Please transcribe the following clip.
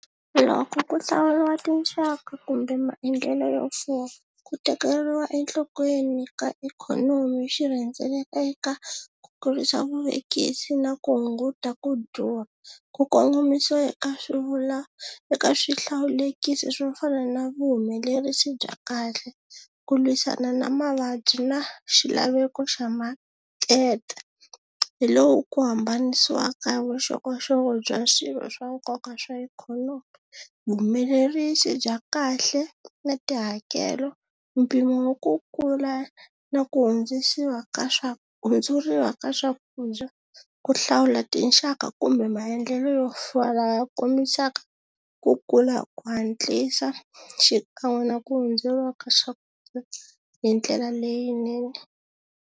Loko ku hlawuriwa tinxaka kumbe maendlelo yo fuma ku tekeriwa enhlokweni ka ikhonomi xi rhendzeleleka ku kurisa vuvekisi na ku hunguta ku durha, ku kongomisiwa eka swivula eka swihlawulekisi swo fana na vuhumelerisi bya kahle, ku lwisana na mavabyi na xilaveko xa market, hi lowu ku hambanisiwaka vuxokoxoko bya swirho swa nkoka swa ikhonomi, vuhumelerisi bya kahle na tihakelo, mpimo wa ku kula na ku hundzisiwa ka swa hundzuriwa ka swakudya ku hlawula tinxaka kumbe maendlelo yo fana ya kombisaka ku kula hi ku hatlisa xikan'we na ku hundzuriwa ka swakudya hi ndlela leyinene.